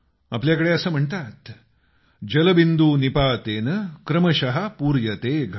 आपल्याकडे असं म्हणतात जलबिंदू निपातेन क्रमश पूर्यते घट